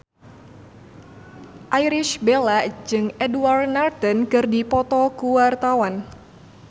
Irish Bella jeung Edward Norton keur dipoto ku wartawan